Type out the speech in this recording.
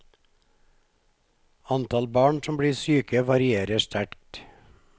Antall barn som blir syke varierer sterkt.